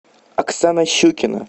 оксана щукина